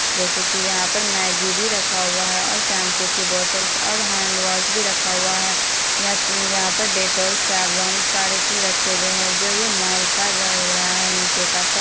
जैसे की यहाँ पर मैगी भी रखा हुआ हैं और शैम्पू की बोतल और हैंडवाश भी रखा हुआ हैं यहाँ पर डेटॉल्स सवलों सारे चीज रखी हुई हैं जो ये मॉल का लग रहा नीचे का--